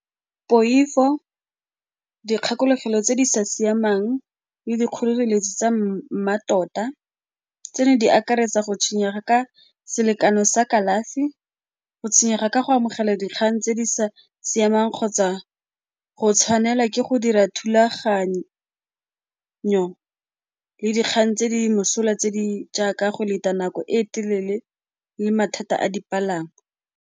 Poifo, dikgakologelo tse di sa siamang le dikgoreletsi tsa mmatota, tseno di akaretsa go tshwenyega ka selekano sa kalafi, go tshwenyega ka go amogela dikgang tse di sa siamang kgotsa go tshwanela ke go dira thulaganyo le dikgang tse di mosola tse di jaaka go leta nako e telele le mathata a dipalangwa.